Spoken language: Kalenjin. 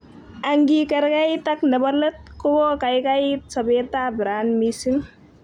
Angikerkeit ak nebo let, kokokaikait sobet ab ran mising